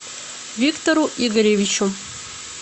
виктору игоревичу